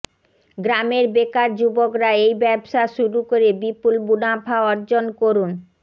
গ্রামের বেকার যুবকরা এই ব্যবসা শুরু করে বিপুল মুনাফা অর্জন করুন